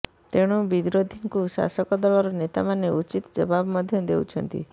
ତେଣୁ ବିରୋଧୀଙ୍କୁ ଶାସକ ଦଳର ନେତାମାନେ ଉଚିତ ଜବାବ ମଧ୍ୟ ଦେଉଛନ୍ତି